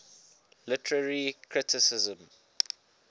literary criticism